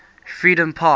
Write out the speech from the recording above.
freedompark